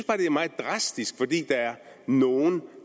at det er meget drastisk fordi der er nogen